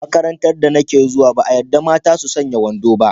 A makarantar da nake zuwa, ba a yadda mata su sanya wando ba.